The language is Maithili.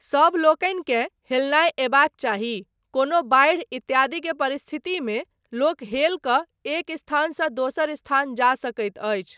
सबलोकनिकेँ हेलनाय अयबाक चाही, कोनो बाढ़ि इत्यादि के परिस्थितिमे लोक हेल कऽ एक स्थानसँ दोसर स्थान जा सकैत अछि।